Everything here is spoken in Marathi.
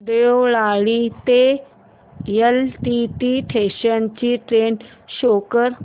देवळाली ते एलटीटी स्टेशन ची ट्रेन शो कर